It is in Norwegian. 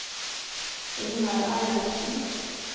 Ingar Eilertsen